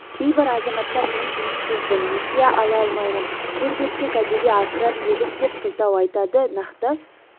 кейбір азаматтар мен жұмыссызбын несие ала алмаймын жер берсе кәдеге асырар едік деп сылтау айтады нақты